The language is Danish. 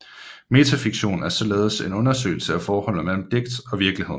Metafiktion er således en undersøgelse af forholdet mellem digt og virkelighed